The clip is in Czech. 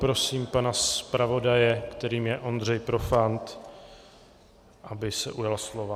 Prosím pana zpravodaje, kterým je Ondřej Profant, aby se ujal slova.